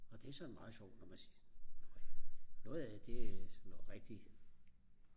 og det er sådan meget sjovt når man skal noget af det noget rigtigt